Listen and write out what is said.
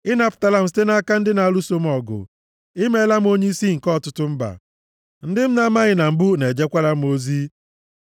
Ị napụtala m site nʼaka ndị na-alụso m ọgụ ị meela m onyeisi nke ọtụtụ mba; ndị m na-amaghị na mbụ na-ejekwara m ozi.